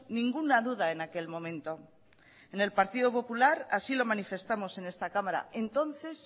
ninguna duda en aquel momento en el partido popular así lo manifestamos en esta cámara entonces